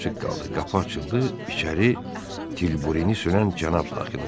Qapı açıldı, içəri tilburini sürən cənab daxil oldu.